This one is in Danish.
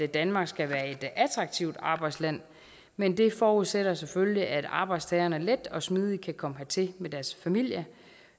danmark skal være et attraktivt arbejdsland men det forudsætter selvfølgelig at arbejdstagerne let og smidigt kan komme hertil med deres familie